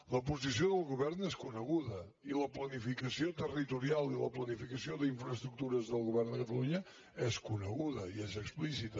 la posició del govern és coneguda i la planificació territorial i la planificació d’infraestructures del govern de catalunya és coneguda i és explícita